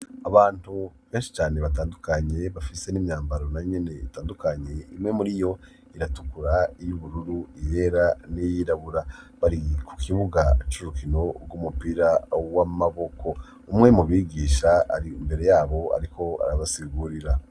Abantu benshi cane batandukanye bafise n'imyambaro nayo nyene itandukanye imwe muri yo iratukura iy'ubururu iyera n'iyirabura bari ku kibuga curukino gw'umupira w'amaboko umwe mu bigisha ari imbere yabo ariko arabasigurira.